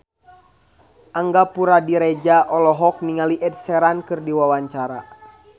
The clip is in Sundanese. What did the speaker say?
Angga Puradiredja olohok ningali Ed Sheeran keur diwawancara